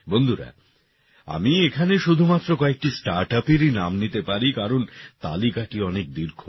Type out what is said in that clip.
বন্ধুরা আমি এখানে শুধুমাত্র কয়েকটি স্টার্টআপেরই নাম নিতে পারি কারণ তালিকাটি অনেক দীর্ঘ